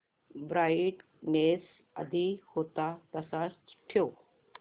brightness आधी होता तसाच ठेव